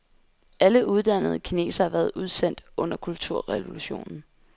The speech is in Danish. Alle uddannede kinesere har været udsendt under kulturrevolutionen.